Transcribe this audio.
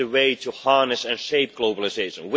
It is the way to harness and shape globalisation.